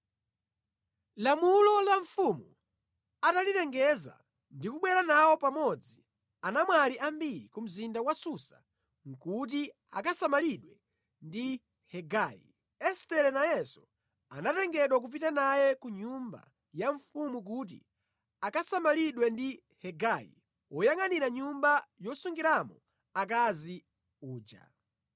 Lamulo la mfumu atalilengeza ndi kubwera nawo pamodzi anamwali ambiri ku mzinda wa Susa kuti akasamalidwe ndi Hegai, Estere nayenso anatengedwa kupita naye ku nyumba ya mfumu kuti akasamalidwe ndi Hegai woyangʼanira nyumba yosungiramo akazi uja.